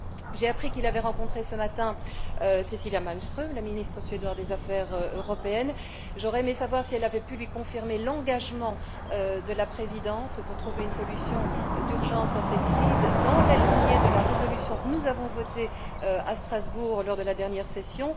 J'ai appris qu'il avait rencontré ce matin Cecilia Malmström, la ministre suédoise des affaires européennes, et j'aurais aimé savoir si elle avait pu lui confirmer l'engagement de la Présidence pour trouver une solution d'urgence à cette crise, dans la ligne de la résolution que nous avons votée à Strasbourg lors de la dernière session.